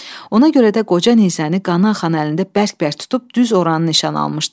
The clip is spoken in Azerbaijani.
Ona görə də qoca nizəni qan axan əlində bərk-bərk tutub düz oranı nişan almışdı.